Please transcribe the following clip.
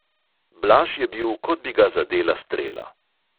Blaž je bil, kot bi ga zadela strela.